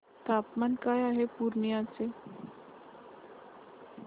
तापमान काय आहे पूर्णिया चे